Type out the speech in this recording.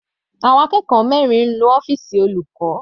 Àwọn akẹ́kọ̀ọ́ mẹrin nu ọ́fìsì olùkọ́.